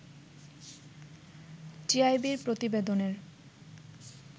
টিআইবি’র প্রতিবেদনের